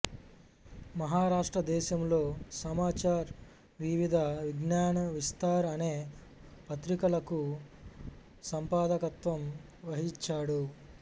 మహారాష్ట్రదేశంలో సమాచార్ వివిధ విజ్ఞాన్ విస్తార్ అనే పత్రికలకు సంపాదకత్వం వహించాడు